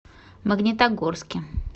магнитогорске